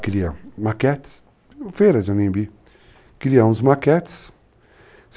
ela cria maquetes, feira de Onimbi, cria uns maquetes.